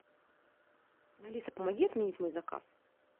алиса помоги отменить мой заказ